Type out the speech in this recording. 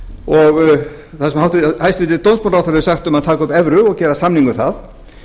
og það sem hæstvirtur dómsmálaráðherra hefur sagt um að taka upp evru og gera samning um það